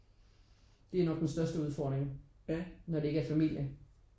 Det er nok den største udfordring når det ikke er familie